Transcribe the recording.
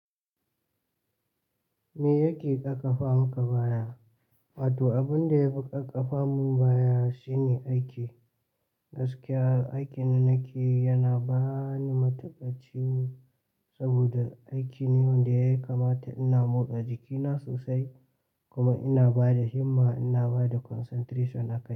Me yake daƙa famaka baya? Wato abin da ya fi kaƙa famun baya shine aiki. Gaskiya aikin da nake yi yana bani matuƙacciwo saboda aiki ne wanda ya kamata ina motsa jikina sosai kuma ina bada himma, ina bada concentration akai.